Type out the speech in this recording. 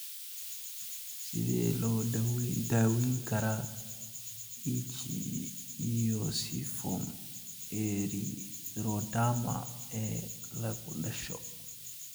Sidee loo daweyn karaa ichthyosiform erythroderma ee lagu dhasho?